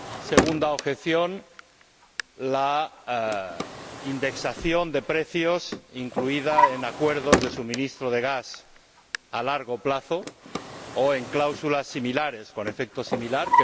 Segunda objeción la indexación de precios incluida en acuerdos de suministro de gas a largo plazo o en cláusulas similares, con efecto similar.